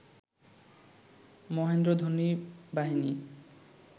মহেন্দ্র ধোনি বাহিনী